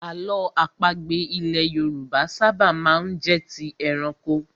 Àlọ́ àpagbè ilẹ̀ Yorùbá ṣábà má ń jẹ́ ti ẹranko.